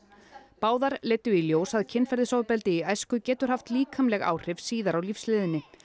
báðar leiddu í ljós að kynferðisofbeldi í æsku getur haft líkamleg áhrif síðar á lífsleiðinni